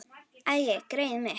Æi, greyið mitt.